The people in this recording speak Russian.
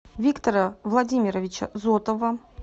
виктора владимировича зотова